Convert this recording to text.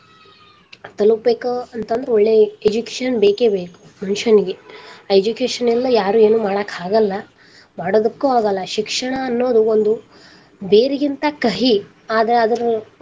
ತಲುಪಬೇಕ ಅಂತಂದ್ರ ಒಳ್ಳೆ education ಬೇಕೇ ಬೇಕ ಮನುಷ್ಯನಿಗೆ education ಇಲ್ದ ಯಾರು ಏನು ಮಾಡಾಕಾಗಲ್ಲಾ ಮಾಡದಕ್ಕೂ ಆಗಲ್ಲಾ ಶಿಕ್ಷಣ ಅನ್ನೋದು ಒಂದು ಬೇರಿಗಿಂತ ಕಹಿ ಆದರ ಅದರ.